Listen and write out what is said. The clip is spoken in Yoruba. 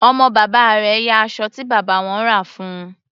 Ọmọ bàbá rẹ̀ ya aṣọ tí bàbá wọn rà fún un.